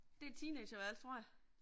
Det er et teeenagerværelse tror jeg